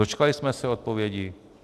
Dočkali jsme se odpovědi?